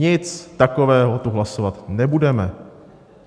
Nic takového tu hlasovat nebudeme.